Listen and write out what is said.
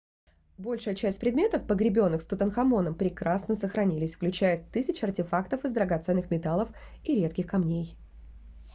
большая часть предметов погребенных с тутанхамоном прекрасно сохранилась включая тысячи артефактов из драгоценных металлов и редких камней